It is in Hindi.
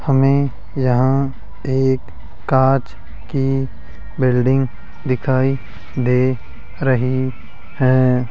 हमें यहां एक कांच की बिल्डिंग दिखाई दे रही है।